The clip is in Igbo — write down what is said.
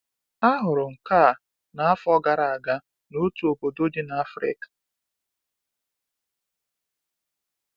A hụrụ nke a n’afọ gara aga n’otu obodo dị na Afrịka